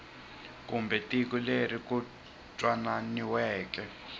kumbe tiko leri ku twanananiweke